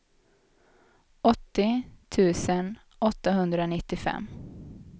åttio tusen åttahundranittiofem